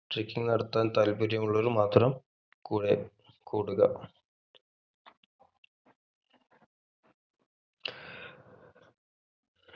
trucking നടത്താൻ താൽപ്പര്യം ഉള്ളവർ മാത്രം കൂടെ കൂടുക